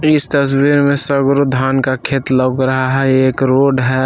इस तस्वीर में सगरो धान का खेत लउक रहा है ये एक रोड है।